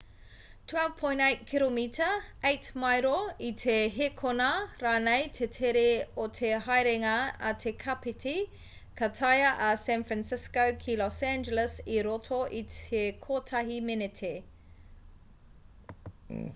12.8 kiromita 8 maero i te hēkona rānei te tere o te haerenga a te kapiti ka taea a san fransisco ki los angeles i roto i te kotahi meneti